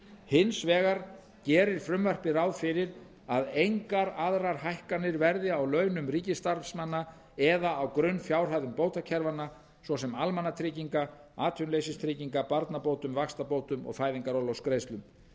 hins vegar gerir frumvarpið ráð fyrir að engar aðrar hækkanir verði á launum ríkisstarfsmanna eða á grunnfjárhæðum bótakerfanna svo sem almannatrygginga atvinnuleysistrygginga barnabótum vaxtabótum og fæðingarorlofsgreiðslum